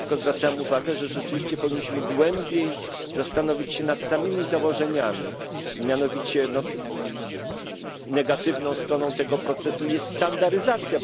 Ja tylko zwracałem uwagę, że rzeczywiście powinniśmy głębiej zastanowić się nad samymi założeniami, mianowicie negatywną stroną tego procesu jest standaryzacja.